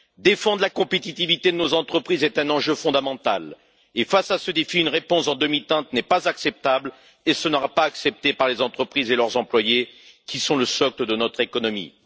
Défendre la compétitivité de nos entreprises est un enjeu fondamental et, face à ce défi, une réponse en demi teinte n'est pas acceptable et ne sera pas acceptée par les entreprises et leurs employés, qui sont le socle de notre économie.